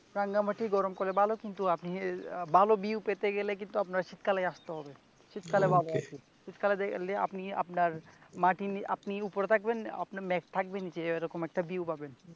রাঙ্গামাটি গরমকালে ভালো কিন্তু আপনি ভালো view পেতে গেলে আপনাকে শীতকালেই আসতে হবে কে শীতকালে আপনি আপনার আপনি উপরে থাকবেন মেঘ থাকবে নিচে এরকম একটা view পাবেন ।